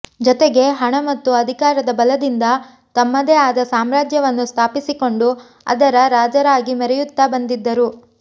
ಜೊತೆಗೆ ಹಣ ಮತ್ತು ಅಧಿಕಾರದ ಬಲದಿಂದ ತಮ್ಮದೇ ಆದ ಸಮ್ರಾಜ್ಯವನ್ನು ಸ್ಥಾಪಿಸಿಕೊಂಡು ಅದರ ರಾಜರಾಗಿ ಮೆರೆಯುತ್ತಾ ಬಂದಿದ್ದರು